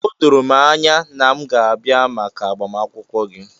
O doro anya na m ga-abịa maka agbamakwụkwọ gị.